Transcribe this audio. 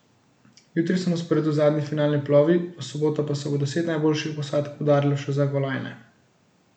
Jutri so na sporedu zadnji finalni plovi, v soboto pa se bo deset najboljših posadk udarilo še za kolajne.